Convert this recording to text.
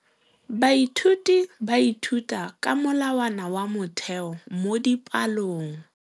Baithuti ba ithuta ka molawana wa motheo mo dipalong.